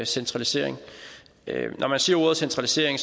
centralisering når man siger ordet centralisering